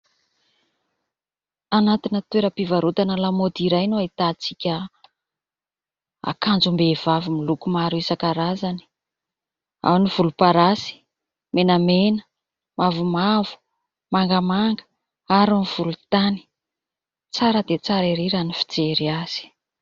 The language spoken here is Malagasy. Anatina toeram-pivarotana lamaody iray no ahitantsika akanjom-behivavy miloko maro isankarazany. Ao ny volomparasy, menamena, mavomavo, mangamanga ary ny volontany. Tsara dia tsara erý raha ny fijery azy.